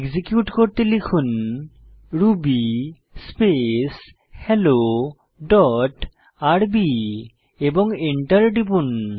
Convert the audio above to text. execute করতে লিখুন Ruby space hello dot rb এবং এন্টার টিপুন